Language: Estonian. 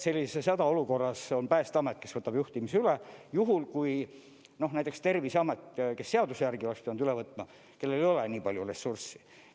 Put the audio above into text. Sellises hädaolukorras on Päästeamet, kes võtab juhtimise üle, juhul kui näiteks Terviseametil, kes seaduse järgi oleks pidanud üle võtma, ei ole nii palju ressurssi.